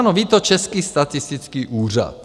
Ano, ví to Český statistický úřad.